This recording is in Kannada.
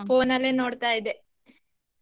Phone ಅಲ್ಲೇ ನೋಡ್ತಾ ಇದ್ದೇ.